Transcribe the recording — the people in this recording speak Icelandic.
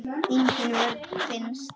Engin vörn finnst.